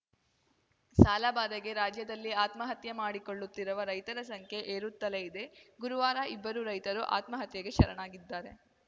ಸಾಲಬಾಧೆಗೆ ರಾಜ್ಯದಲ್ಲಿ ಆತ್ಮಹತ್ಯೆ ಮಾಡಿಕೊಳ್ಳುತ್ತಿರುವ ರೈತರ ಸಂಖ್ಯೆ ಏರುತ್ತಲೇ ಇದೆ ಗುರುವಾರ ಇಬ್ಬರು ರೈತರು ಆತ್ಮಹತ್ಯೆಗೆ ಶರಣಾಗಿದ್ದಾರೆ